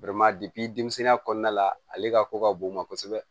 denmisɛnninya kɔnɔna la ale ka ko ka bon u ma kosɛbɛ